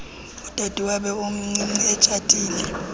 udadewabo omncinci etshatile